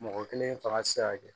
Mɔgɔ kelen fanga ti se ka kɛ